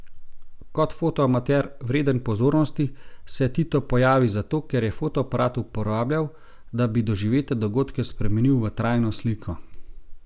Kot fotoamater, vreden pozornosti, se Tito pojavi zato, ker je fotoaparat uporabljal, da bi doživete dogodke spremenil v trajno sliko.